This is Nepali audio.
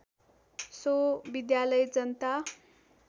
सो विद्यालय जनता